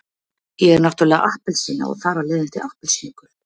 Ég er náttúrulega appelsína og þar af leiðandi appelsínugul.